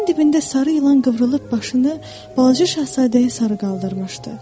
Divarın dibində sarı ilan qıvrılıb başını balaca şahzadəyə sarı qaldırmışdı.